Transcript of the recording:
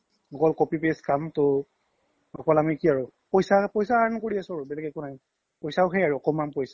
অকল copy paste কাম্তো অকল আমি আৰু কি আৰু পইচা earn কৰি আছো আৰু বেলেগ একো নাই পইচাও সেই আৰু একমান পইচা